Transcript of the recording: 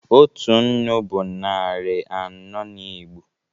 Otu nnu bụ narị anọ n'Igbo